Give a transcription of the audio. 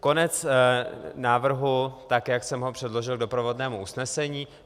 Konec návrhu, tak jak jsem ho předložil k doprovodnému usnesení.